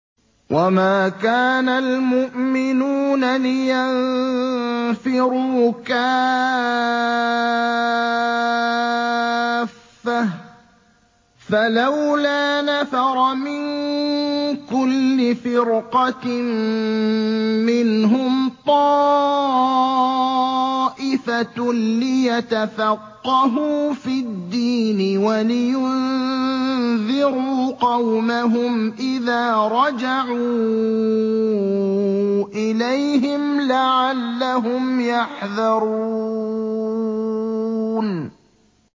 ۞ وَمَا كَانَ الْمُؤْمِنُونَ لِيَنفِرُوا كَافَّةً ۚ فَلَوْلَا نَفَرَ مِن كُلِّ فِرْقَةٍ مِّنْهُمْ طَائِفَةٌ لِّيَتَفَقَّهُوا فِي الدِّينِ وَلِيُنذِرُوا قَوْمَهُمْ إِذَا رَجَعُوا إِلَيْهِمْ لَعَلَّهُمْ يَحْذَرُونَ